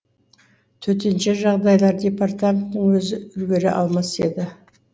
төтенше жағдайлар департаментінің өзі үлгере алмас еді